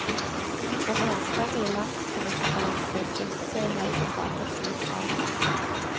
En enstemmig landskvinnekonferanse stilte seg i helgen bak et slikt krav.